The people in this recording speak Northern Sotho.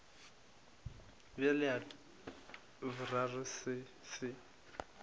bjale sa boraro se se